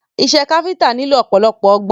Iṣẹ́ káfíntà nílò ọ̀pọ̀lọpọ̀ ọgbọ́n.